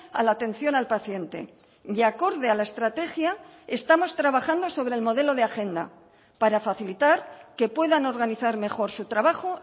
a la atención al paciente y acorde a la estrategia estamos trabajando sobre el modelo de agenda para facilitar que puedan organizar mejor su trabajo